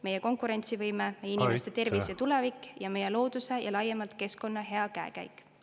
… meie konkurentsivõime, inimeste tervis ja tulevik ning meie looduse ja laiemalt keskkonna hea käekäik.